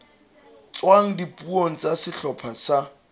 tswang dipuong tsa sehlopha sa